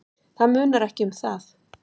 Það munar ekki um það.